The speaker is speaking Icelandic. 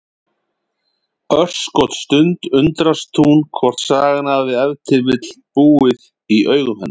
Örskotsstund undrast hún hvort sagan hafi ef til vill búið í augum hennar.